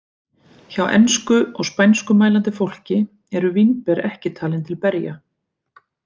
Hjá ensku- og spænskumælandi fólki eru vínber ekki talin til berja.